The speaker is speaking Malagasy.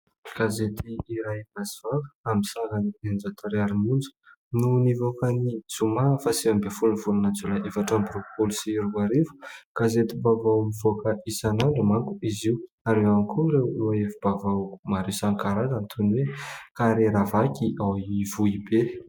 Gazety iray Basy Vava amin'ny sarany eninjato ariary monja no nivoaka ny zoma faha sivy ambin'ny folon'ny volana jolay efatra amby roapolo sy roa arivo. Gazetim-baovao mivoaka isan'andro manko izy io ary ao ihany koa ireo lohahevi-baovao maro isan-karazany toy ny hoe kariera vaky ao Ivohibe.